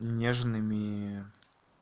нежными